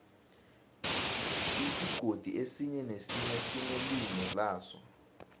isigodi esinye nesinye sinelimi laso